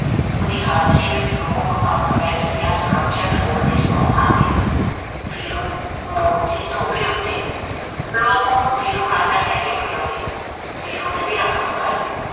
ਓਹ ਦੀ ਹਾਜਰੀ ਵਿਚ ਲੋਕ ਆਪਣੀਆ ਧੀਆਂ ਸੁਰੱਖਿਅਤ ਹੋਣ ਦੀ ਸੌਹ ਖਾਂਦੇ। ਵੀਰੂ ਮੂਰਤੀ ਤੋਂ ਵੀ ਓਤੇ, ਲੋਕ ਓਹਨੂੰ ਵੀਰੂ ਰਾਜਾ ਕਹਿ ਕੇ ਵਡਿਆਓਦੇ। ਵੀਰੂ ਨੇ ਵੀ ਰੱਖ ਵਖਾਈ